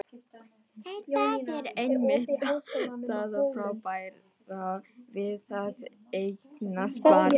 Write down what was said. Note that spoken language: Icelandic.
En það er einmitt það frábæra við að eignast barn.